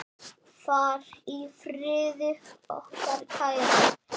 Far í friði, okkar kæri.